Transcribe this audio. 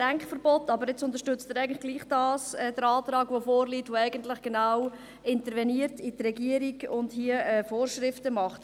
Aber jetzt unterstützt er trotzdem den Antrag, der eben genau in die Arbeit der Regierung interveniert und Vorschriften macht.